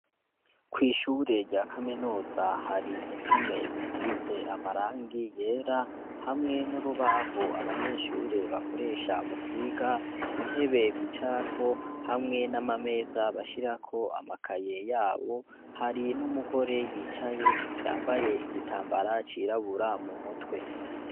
Kw'ishure rya kaminuza hari impome zisize amarangi yera hamwe n'urubaho abanyeshure bakoresha mukwiga intebe bicarako hamwe n'amameza bashirako amakaye yabo hari n'umugore yicaye yambaye igitambara c'irabura mu mutwe.